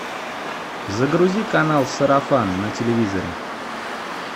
загрузи канал сарафан на телевизоре